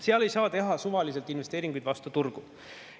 Seal ei saa teha suvaliselt investeeringuid vastu turgu.